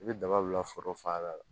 I bɛ daba bila foro fan la